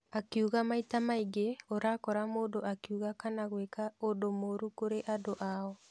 Akiuga maita maingĩ ũrakora mũndũ akiuga kana gwĩka ũndũ mũru kũrĩ andũ ao.